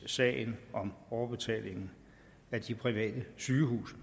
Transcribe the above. sagen om overbetalingen af de private sygehuse